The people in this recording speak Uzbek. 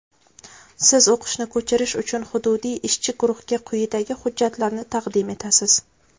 Siz o‘qishni ko‘chirish uchun hududiy ishchi guruhga quyidagi hujjatlarni taqdim etasiz:.